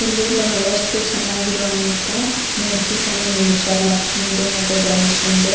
ಇಲ್ಲಿ ಬಹಳಷ್ಟು ಚೆನ್ನಾಗಿರುವಂತಃ ಮೂರ್ತಿ ತ್ಂದು ನಿಲ್ಲಿಸ್ಯಾರ್ ಲಕ್ಷ್ಮಿದು ಮತ್ತು ಗಣೇಶಂದು.